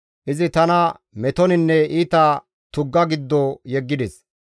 Izi tana metoninne iita tugga giddo yeggides.